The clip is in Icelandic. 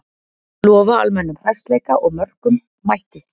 Lofa almennum hressleika og mörkum, mættu!